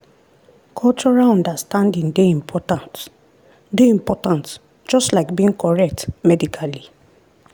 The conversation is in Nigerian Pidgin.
cultural understanding dey important dey important just like being correct medically.